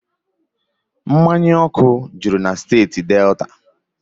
Mmanya ọkụ juru na steeti Delta